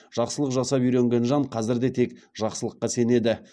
жақсылық жасап үйренген жан қазір де тек жақсылыққа сенеді